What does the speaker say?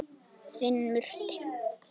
Þinn Murti.